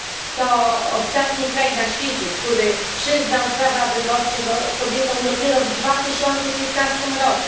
To ostatni kraj na świecie, który przyznał prawa wyborcze kobietom dopiero w 2015 r.